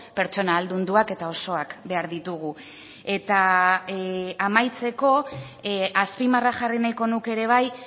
pertsona ahaldunduak eta osoak behar ditugu eta amaitzeko azpimarra jarri nahiko nuke ere bai